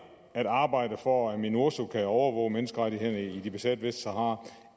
at arbejde for at minurso kan overvåge menneskerettighederne i det besatte vestsahara